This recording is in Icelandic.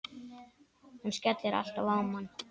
Hann skellir alltaf á mann!